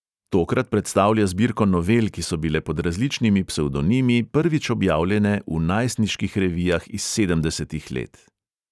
Tokrat predstavlja zbirko novel, ki so bile pod različnimi psevdonimi prvič objavljene v najstniških revijah iz sedemdesetih let.